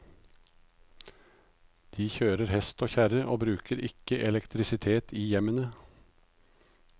De kjører hest og kjerre og bruker ikke elektrisitet i hjemmene.